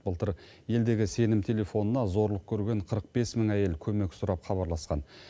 былтыр елдегі сенім телефонына зорлық көрген қырық бес мың әйел көмек сұрап хабарласқан